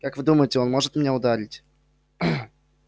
как вы думаете он может меня ударить